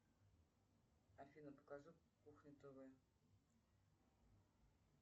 афина покажи кухня тв